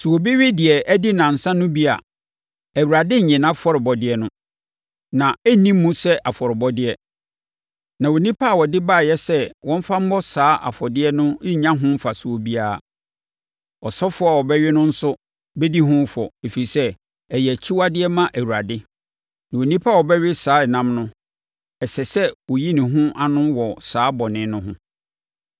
Sɛ obi we deɛ adi nnansa no bi a, Awurade rennye afɔrebɔdeɛ no; na ɛrenni mu sɛ afɔrebɔdeɛ, na onipa a ɔde baeɛ sɛ wɔmfa mmɔ saa afɔdeɛ no rennya ho mfasoɔ biara. Ɔsɔfoɔ a ɔbɛwe no nso bɛdi ho fɔ, ɛfiri sɛ, ɛyɛ akyiwadeɛ ma Awurade; na onipa a ɔbɛwe saa ɛnam no, ɛsɛ sɛ ɔyi ne ho ano wɔ saa bɔne no ho.